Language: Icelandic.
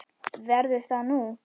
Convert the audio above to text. Verður það þú?